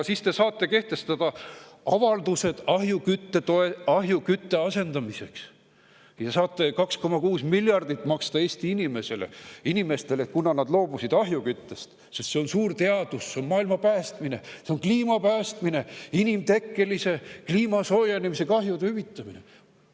Siis te saate kehtestada ahjukütte asendamiseks ja saate 2,6 miljardit maksta Eesti inimestele, kuna nad loobusid ahjuküttest, sest see on suur teadus, see on maailma päästmine, see on kliima päästmine, inimtekkelise kliimasoojenemise kahjude hüvitamine.